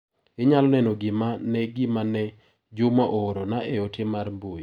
Inyalo neno gima ne gima ne Juma oorona e ote mar mbui.